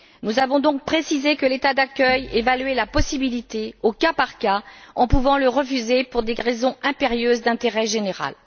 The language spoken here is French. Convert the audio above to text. Nous avons donc précisé que l'État d'accueil évaluait la possibilité au cas par cas, en pouvant la refuser pour des raisons impérieuses d'intérêt général.